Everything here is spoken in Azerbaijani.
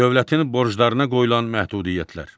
Dövlətin borclarına qoyulan məhdudiyyətlər.